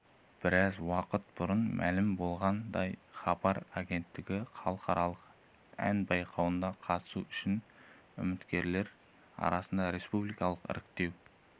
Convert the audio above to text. біраз уақыт бұрын мәлім болғандай хабар агенттігі халықаралық ән байқауына қатысу үшін үміткерлер арасында республикалық іріктеу